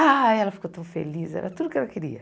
Ah, ela ficou tão feliz, era tudo o que ela queria.